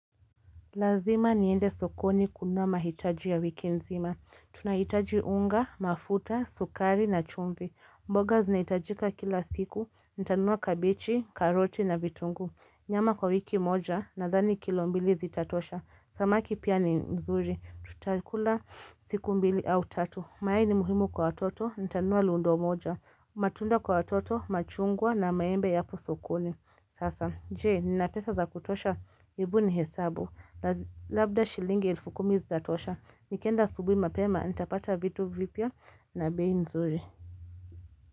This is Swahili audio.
Lazima niende sokoni kununua mahitaji ya wiki nzima. Tunahitaji unga, mafuta, sukari na chumvi. Mboga zinahitajika kila siku, nitanunua kabichi, karoti na vitunguu. Nyama kwa wiki moja, nadhani kilo mbili zitatosha. Samaki pia ni nzuri. Tutakula siku mbili au tatu. Mayai ni muhimu kwa watoto, nitanunua lundo moja. Matunda kwa watoto, machungwa na maembe yako sokoni. Sasa, je, nina pesa za kutosha? Hebu ni hesabu. Labda shilingi elfu kumi zitatosha Nikienda asubuhi mapema Nitapata vitu vipya na bei nzuri.